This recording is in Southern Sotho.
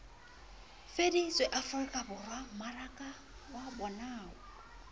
fetotse afrikaborwa mmaraka wa bonao